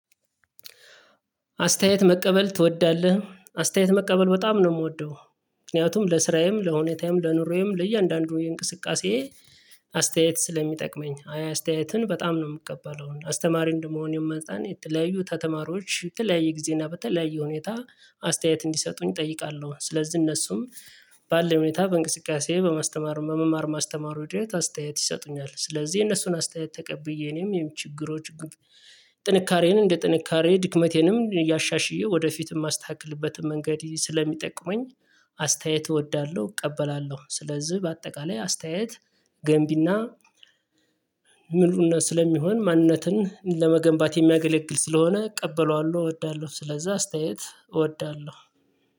አስተያየት መቀበል ትወዳለህ? አስተያየት መቀበል በጣም ነው የምወደው ምክንያቱም ለስራዬም ለሁኔታዬም ለኑሮዬም ለእያንዳንዱ የእንቅስቃሴ አስተያየት ስለሚጠቅመኝ አያ አስተያየትን በጣም ነው የምትቀበለው አስተማሪ እንደመሆኔም መጠን የተለያዩ ተተማሪዎች በተለያየ ጊዜ እና በተለያየ ሁኔታ አስተያየት እንዲሰጡኝ እጠይቃለሁ ስለዚህ እነሱም ባለኝ ሁኔታ በእንቅስቃሴ በመማር ማስተማሩ ሂደት አስተያየት ይሰጡኛል ስለዚህ የነሱን አስተያየት ተቀብዬ እኔም የምችግሮች ጥንካሬን እንደ ጥንካሬ ድክመቴንም እያሻሽዬ ወደፊትም የማስተካክልበትን መንገድ ስለሚጠቅመኝ አስተያየት እወዳለሁ እቀበላለሁ ስለዚህ በአጠቃላይ አስተያየት ገንቢና ምሉነት ስለሚሆን ማንነትን ለመገንባት የሚያገለግል ስለሆነ እቀበለዋለሁ እወዳለሁ ስለዛ አስተያየት እወዳለሁ።